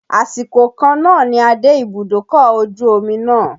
Àsìkò kan náà ni a dé ibùdókọ̀ ojú omi náà.